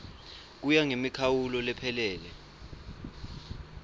kuya ngemikhawulo lephelele